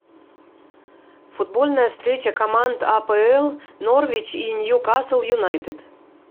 футбольная встреча команд апл норвич и ньюкасл юнайтед